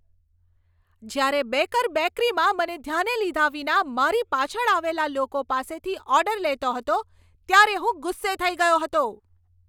જ્યારે બેકર બેકરીમાં મને ધ્યાને લીધા વિના મારી પાછળ આવેલા લોકો પાસેથી ઓર્ડર લેતો હતો ત્યારે હું ગુસ્સે થઈ ગયો હતો.